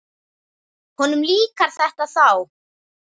Honum líkar þetta þá.